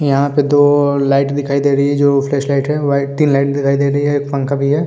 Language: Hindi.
यहाँ पे दो लाइट दिखाई दे रही है जो फ्लैश लाइट है वाई तीन लाइट दिखाई दे रही है एक पंखा भी है।